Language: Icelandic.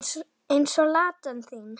Eins og Ladan þín.